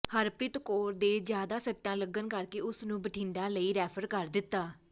ਹਰਪ੍ਰੀਤ ਕੌਰ ਦੇ ਜ਼ਿਆਦਾ ਸੱਟਾਂ ਲੱਗਣ ਕਰਕੇ ਉਸ ਨੂੰ ਬਠਿੰਡਾ ਲਈ ਰੈਫਰ ਕਰ ਦਿੱਤਾ